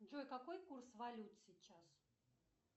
джой какой курс валют сейчас